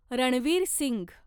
Ranveer Singh